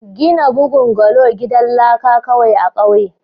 gina bungalow gidan laka kawai a ƙauyen.